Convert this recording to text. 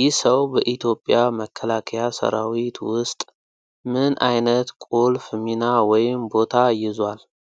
ይህ ሰው በኢትዮጵያ መከላከያ ሰራዊት ውስጥ ምን አይነት ቁልፍ ሚና ወይም ቦታ ይዟል?